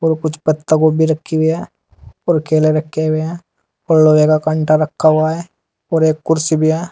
और कुछ पत्तागोभी रखी हुई हैं और केले रखे हुए हैं और लोहे का कांटा रखा हुआ है और एक कुर्सी भी है।